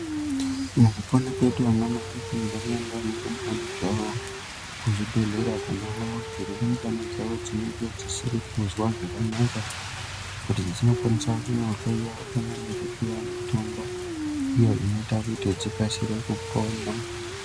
Mukupona kwedu ana mai anofanira kuenda nerumbwana dzawo kuzvibhedhlera kunoo rumbwana dzawo dzinenge dzisiri kuzwa zvakanaka kuti dzinokwanisa kunohloyiwa pamwe nekupuwa mutombo iyo inoita kuti dzikasire kupona.